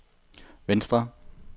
venstre